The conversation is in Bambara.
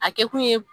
A kɛ kun ye